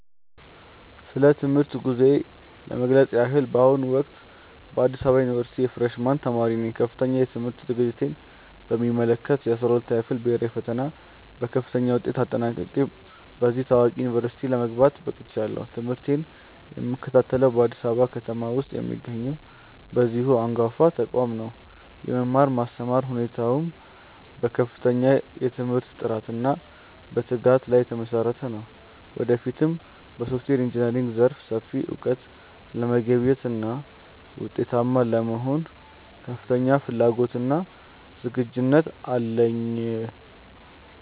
ስለ ትምህርት ጉዞዬ ለመግለጽ ያህል፣ በአሁኑ ወቅት በአዲስ አበባ ዩኒቨርሲቲ የፍሬሽ ማን ተማሪ ነኝ። ከፍተኛ የትምህርት ዝግጅቴን በሚመለከት፣ የ12ኛ ክፍል ብሄራዊ ፈተናን በከፍተኛ ውጤት አጠናቅቄ ወደዚህ ታዋቂ ዩኒቨርሲቲ ለመግባት በቅቻለሁ። ትምህርቴን የምከታተለው በአዲስ አበባ ከተማ ውስጥ በሚገኘው በዚሁ አንጋፋ ተቋም ሲሆን፣ የመማር ማስተማር ሁኔታውም በከፍተኛ የትምህርት ጥራትና በትጋት ላይ የተመሰረተ ነው። ወደፊትም በሶፍትዌር ኢንጂነሪንግ ዘርፍ ሰፊ እውቀት ለመገብየትና ውጤታማ ለመሆን ከፍተኛ ፍላጎትና ዝግጁነት አለኝ።